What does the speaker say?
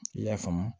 I y'a faamu